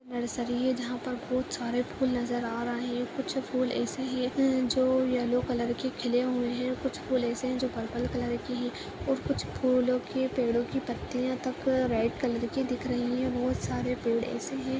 नर्सरी है जहाँ पर बहोत सारे फूल नजर आ रहे हैं कुछ फूल ऐसे हैं जो येलो कलर के खिले हुए हैं कुछ फूल एसे हैं जो पर्पल कलर के हैं और कुछ फूलों के पेड़ों की पत्तियां तक रेड कलर की दिख रही हैं बहोत सारे पेड़ एसे हैं।